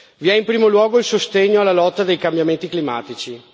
Vi è in primo luogo il sostegno alla lotta dei cambiamenti climatici.